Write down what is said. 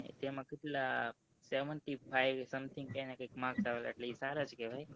seventy fivesomething કઈ ક marks લા એ સારા જ કેહવાય